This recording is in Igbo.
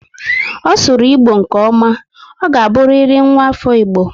Ọ sụrụ Igbo nke ọma. Ọ ga buriri nwa afọ Igbo